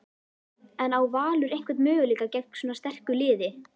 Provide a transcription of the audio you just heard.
En á Valur einhvern möguleika gegn svona sterku liði?